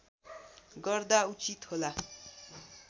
गर्दा उचित होला